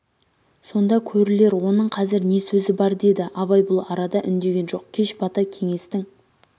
сонда көрілер оның қазір не сөзі бар деді абай бұл арада үндеген жоқ кеш бата кеңестің